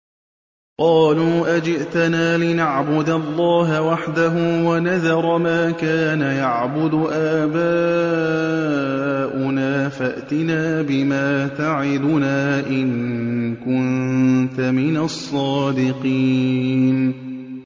قَالُوا أَجِئْتَنَا لِنَعْبُدَ اللَّهَ وَحْدَهُ وَنَذَرَ مَا كَانَ يَعْبُدُ آبَاؤُنَا ۖ فَأْتِنَا بِمَا تَعِدُنَا إِن كُنتَ مِنَ الصَّادِقِينَ